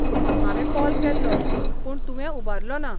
हांवें कॉल केल्लो, पूण तुवें उबारलोना.